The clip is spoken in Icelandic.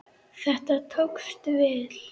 Þetta tókst vel.